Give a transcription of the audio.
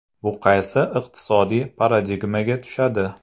Bu qaysi iqtisodiy paradigmaga tushadi?